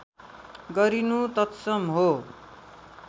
गरिनु तत्सम हो